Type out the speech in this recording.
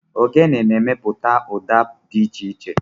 Ogene na-emepụta ụda dị iche iche.